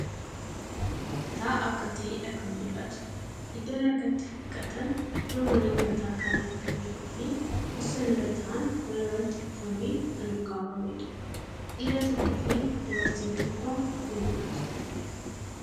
Mna nyaataa akka ta'eedha kan mul'atu. Iddoon harka itti dhiqatan fuuldura mana nyaataa kana kan jiruu fii teesson irra taa'an walirratti kuufamee kan olkaawwameedhaa. Dhiira tokkoo fii dubartiin tokko ni mul'atu.